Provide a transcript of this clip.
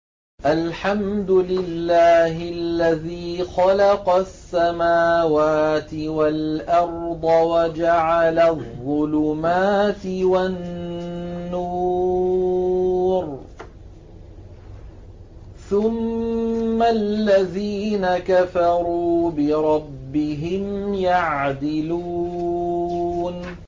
الْحَمْدُ لِلَّهِ الَّذِي خَلَقَ السَّمَاوَاتِ وَالْأَرْضَ وَجَعَلَ الظُّلُمَاتِ وَالنُّورَ ۖ ثُمَّ الَّذِينَ كَفَرُوا بِرَبِّهِمْ يَعْدِلُونَ